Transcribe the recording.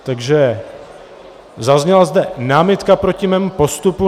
Takže zazněla zde námitka proti mému postupu.